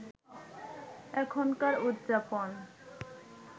এখনকার উদযাপন